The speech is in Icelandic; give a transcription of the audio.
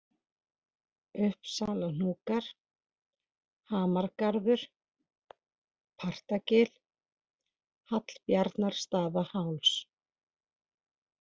Uppsalahnúkar, Hamargarður, Partagil, Hallbjarnarstaðaháls